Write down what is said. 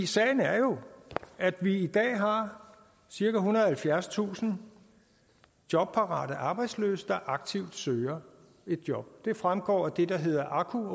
sagen er jo at vi i dag har cirka ethundrede og halvfjerdstusind jobparate arbejdsløse der aktivt søger et job det fremgår af det der hedder aku